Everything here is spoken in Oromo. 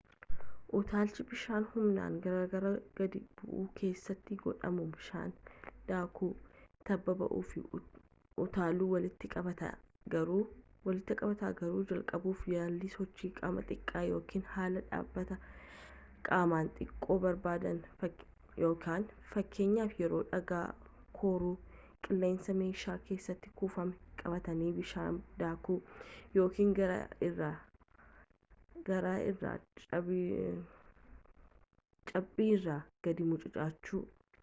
utaalchi bishaan humnaan gaararraa gad bu’u keessatti godhamu bishaan daakuu tabba ba’uu fi utaaluu walitti qabataa--garuu jalqabuuf yaalii sochii qaamaa xiqqaa ykn haala dhaabbata qaamaa xiqqoo barbaada fakkeenyaaf yeroo dhagaa koruu qilleensa meeshaa keessatti kuufame qabatanii bishaan daakuu ykn gaara irraa cabbiirra gadi mucucaachuu